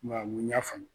Maaw n y'a faamu